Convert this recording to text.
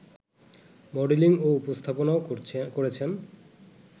modelling ও উপস্থাপনাও করেছেন